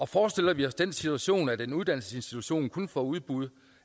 forestiller vi os den situation at en uddannelsesinstitution kun får udbud